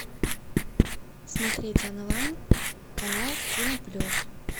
смотреть онлайн канал кино плюс